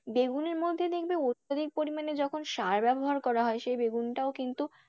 বেগুনের মধ্যে দেখবে অত্যাধিক পরিমাণে যখন সার ব্যাবহার করা হয় সেই বেগুনটাও কিন্তু,